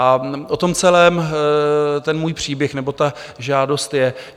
A o tom celém ten můj příběh, nebo ta žádost je.